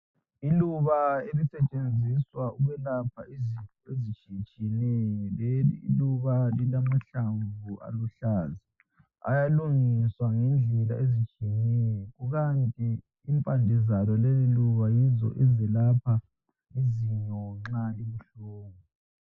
Iluba elisetshenziswa ukwelapha izifo ezitshiyetshiyeneyo. Leliluba lilamahlamvu aluhlaza. Ayalungiswa, ngendlela ezitshiyeneyo. Kukanti lmpande zalo leliluba, yizo ezelapha izinyo nxa libuhlungu.